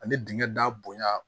Ani dingɛn da bonya